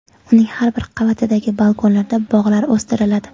Uning har bir qavatidagi balkonlarda bog‘lar o‘stiriladi.